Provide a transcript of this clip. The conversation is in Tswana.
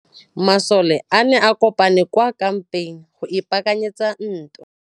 Masole a ne a kopane kwa kampeng go ipaakanyetsa ntwa.